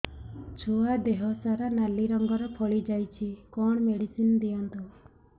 ଛୁଆ ଦେହ ସାରା ନାଲି ରଙ୍ଗର ଫଳି ଯାଇଛି କଣ ମେଡିସିନ ଦିଅନ୍ତୁ